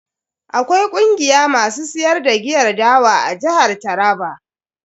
Akwai kungiya masu siyar da giyar dawa a jihar Taraba.